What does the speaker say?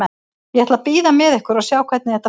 Ég ætla að bíða með ykkur og sjá hvernig þetta fer.